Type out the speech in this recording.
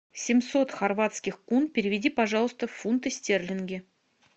семьсот хорватских кун переведи пожалуйста в фунты стерлинги